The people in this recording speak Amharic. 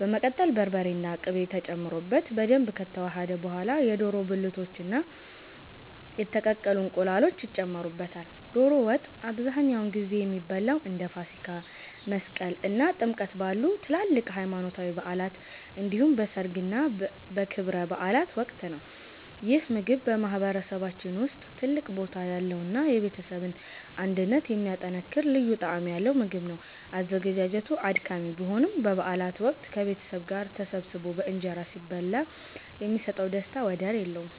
በመቀጠል በርበሬና ቅቤ ተጨምሮበት በደንብ ከተዋሃደ በኋላ፣ የዶሮ ብልቶችና የተቀቀሉ እንቁላሎች ይጨመሩበታል። ዶሮ ወጥ አብዛኛውን ጊዜ የሚበላው እንደ ፋሲካ፣ መስቀል እና ጥምቀት ባሉ ትላልቅ ሃይማኖታዊ በዓላት እንዲሁም በሠርግና በክብረ በዓላት ወቅት ነው። ይህ ምግብ በማህበረሰባችን ውስጥ ትልቅ ቦታ ያለውና የቤተሰብን አንድነት የሚያጠናክር ልዩ ጣዕም ያለው ምግብ ነው። አዘገጃጀቱ አድካሚ ቢሆንም፣ በበዓላት ወቅት ከቤተሰብ ጋር ተሰባስቦ በእንጀራ ሲበላ የሚሰጠው ደስታ ወደር የለውም።